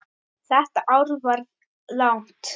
Þetta ár varð langt.